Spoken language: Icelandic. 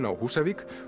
á Húsavík